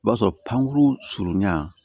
O b'a sɔrɔ pankuru surunin na